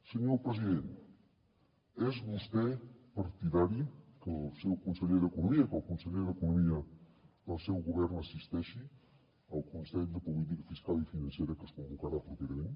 senyor president és vostè partidari que el seu conseller d’economia que el conseller d’economia del seu govern assisteixi al consell de política fiscal i financera que es convocarà properament